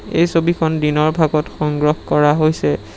এই ছবিখন দিনৰ ভাগত সংগ্ৰহ কৰা হৈছে।